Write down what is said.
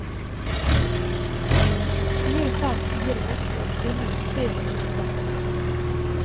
fire fem fire åtte åttini tre hundre og tretti